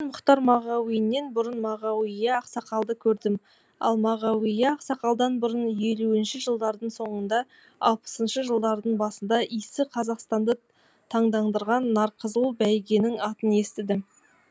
мен мұхтар мағауиннен бұрын мағауия ақсақалды көрдім ал мағауия ақсақалдан бұрын елуінші жылдардың соңында алпысыншы жылдардың басында исі қазақстанды таңдандырған нарқызыл бәйгенің атын естідім